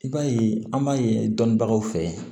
I b'a ye an b'a ye dɔnnibagaw fɛ